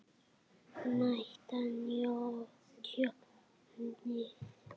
Meta tjónið.